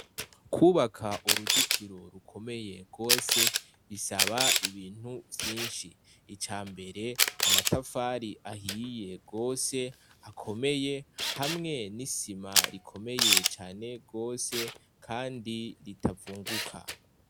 Kubaka uruzitiro rukomeye gose, bisaba ibintu vyinshi. Icambere amatafari ahiye gose akomeye, hamwe n'isima rikomeye cane gose kandi ritavunguka.